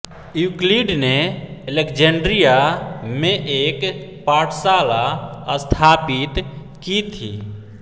Euclid ने Alexandria में एक पाठशाला स्थापित की थी